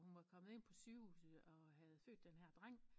Hun var kommet ind på sygehuset og havde født den her dreng